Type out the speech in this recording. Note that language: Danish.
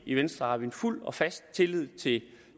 i venstre har vi fuld og fast tillid til